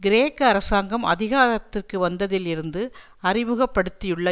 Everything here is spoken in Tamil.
கிரேக்க அரசாங்கம் அதிகாரத்திற்கு வந்ததில் இருந்து அறிமுகப்படுத்தியுள்ள